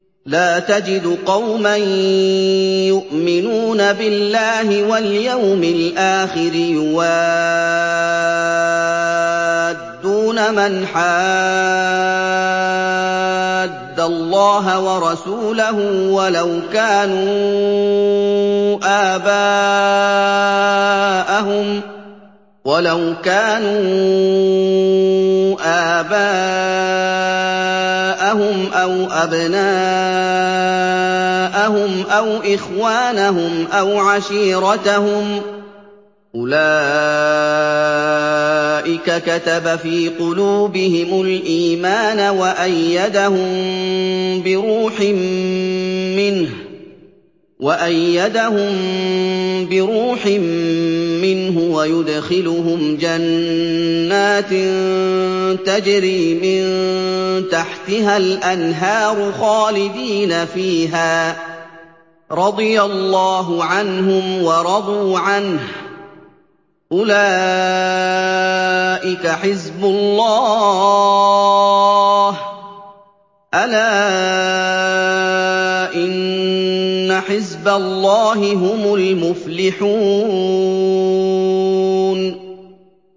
لَّا تَجِدُ قَوْمًا يُؤْمِنُونَ بِاللَّهِ وَالْيَوْمِ الْآخِرِ يُوَادُّونَ مَنْ حَادَّ اللَّهَ وَرَسُولَهُ وَلَوْ كَانُوا آبَاءَهُمْ أَوْ أَبْنَاءَهُمْ أَوْ إِخْوَانَهُمْ أَوْ عَشِيرَتَهُمْ ۚ أُولَٰئِكَ كَتَبَ فِي قُلُوبِهِمُ الْإِيمَانَ وَأَيَّدَهُم بِرُوحٍ مِّنْهُ ۖ وَيُدْخِلُهُمْ جَنَّاتٍ تَجْرِي مِن تَحْتِهَا الْأَنْهَارُ خَالِدِينَ فِيهَا ۚ رَضِيَ اللَّهُ عَنْهُمْ وَرَضُوا عَنْهُ ۚ أُولَٰئِكَ حِزْبُ اللَّهِ ۚ أَلَا إِنَّ حِزْبَ اللَّهِ هُمُ الْمُفْلِحُونَ